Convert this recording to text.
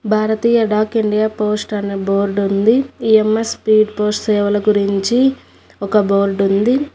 భారతీయ Dak India Post అన్న board ఉంది EMS speed post సేవల గురించి ఒక బోర్డు ఉంది.